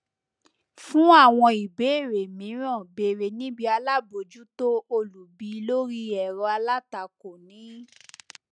fun àwọn ìbéèrè míràn bère níbi alábòjútó olùbi lórí ẹrọ alátakò ní